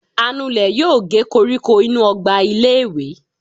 anulè yóò gé kóríkó inú ogba ilé ìwé.